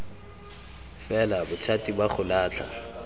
fela bothati ba go latlha